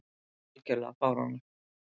Þetta er algjörlega fáránlegt.